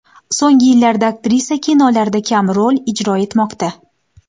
So‘nggi yillarda aktrisa kinolarda kam rol ijro etmoqda.